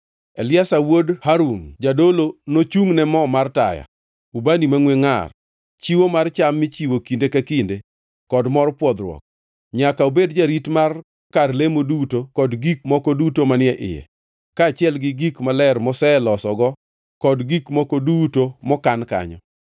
“Eliazar wuod Harun, jadolo, nochungʼne mo mar taya, ubani mangʼwe ngʼar, chiwo mar cham michiwo kinde ka kinde, kod mor pwodhruok. Nyaka obed jarit mar kar lemo duto kod gik moko duto manie iye, kaachiel gi gik maler molosego kod gik moko duto mokan kanyo.”